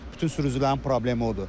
Bütün sürücülərin problemi odur.